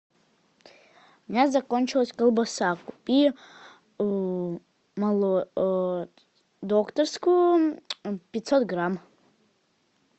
у меня закончилась колбаса купи докторскую пятьсот грамм